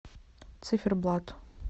циферблат